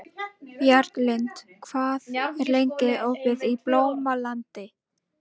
Bjarglind, hvað er lengi opið í Blómalandi?